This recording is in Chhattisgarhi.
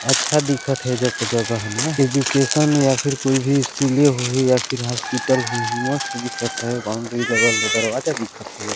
अच्छा दिखा थे एजग के जगह न एजुकेशन या फिर कोई भी स्कूले होही या फिर कोई हॉस्पिटल होही मस्त दिखत है बाउंड्री लगल में दरवाजा दिखत हैं एजग--